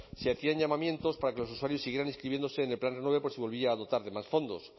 se hacían llamamientos para que los usuarios siguieran inscribiéndose en el plan renove por si volvía a dotar de más fondos